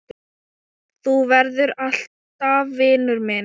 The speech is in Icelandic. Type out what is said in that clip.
Þú verður alltaf vinur minn.